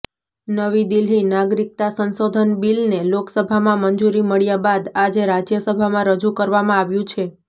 નવી દિલ્હીઃ નાગરિકતા સંશોધન બિલને લોકસભામાં મંજૂરી મળ્યા બાદ આજે રાજ્યસભામાં રજૂ કરવામાં આવ્યું છે